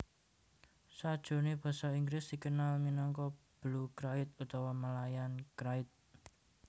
Sajroné basa Inggris dikenal minangka Blue krait utawa Malayan krait